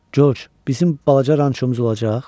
Corc, bizim balaca rançomuz olacaq.